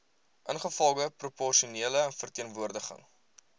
ingevolge proporsionele verteenwoordiging